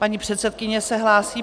Paní předsedkyně se hlásí.